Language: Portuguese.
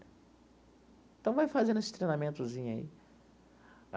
Então, vai fazendo esse treinamentozinho aí.